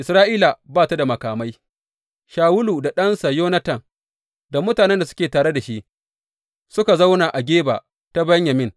Isra’ila ba ta da makamai Shawulu da ɗansa Yonatan da mutanen da suke tare da shi suka zauna a Geba ta Benyamin.